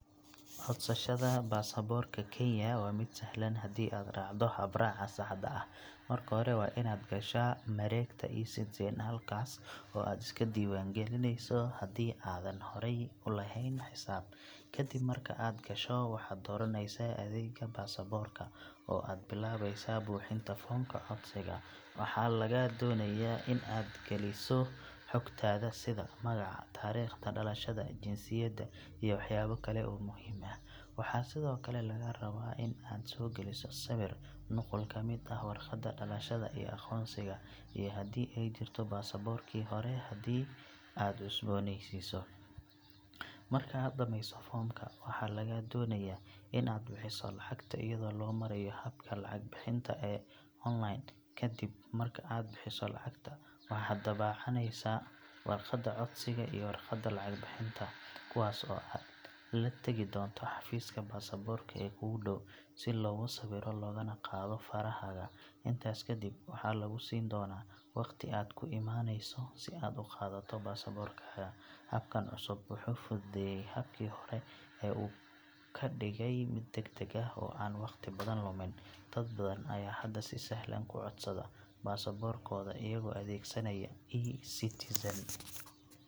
Codsashada baasaboorka Kenya waa mid sahlan hadii aad raacdo habraaca saxda ah. Marka hore waa inaad gashaa mareegta e-Citizen halkaas oo aad iska diiwaangelinayso hadii aadan horey u lahayn xisaab. Kadib marka aad gasho, waxaad dooranaysaa adeegga baasaboorka oo aad bilaabaysaa buuxinta foomka codsiga. Waxaa lagaa doonayaa in aad geliso xogtaada sida magaca, taariikhda dhalashada, jinsiyadda, iyo waxyaabo kale oo muhiim ah. Waxaa sidoo kale lagaa raba in aad soo geliso sawir, nuqul ka mid ah warqadda dhalashada iyo aqoonsiga, iyo haddii ay jirto baasaboorkii hore hadii aad cusboonaysiinayso. Marka aad dhamayso foomka, waxaa lagaa doonayaa in aad bixiso lacagta iyadoo loo marayo habka lacag bixinta ee online. Kadib marka aad bixiso lacagta, waxaad daabacanaysaa warqadda codsiga iyo warqadda lacag bixinta, kuwaas oo aad la tagi doonto xafiiska baasaboorka ee kuugu dhow si laguu sawiro lagana qaado farahaaga. Intaas kadib, waxaa lagu siin doonaa wakhti aad ku imaanayso si aad u qaadato baasaboorkaaga. Habkan cusub wuxuu fududeeyay habkii hore oo uu ka dhigay mid degdeg ah oo aan waqti badan lumin. Dad badan ayaa hadda si sahlan ku codsada baasaboorkooda iyagoo adeegsanaya e-Citizen.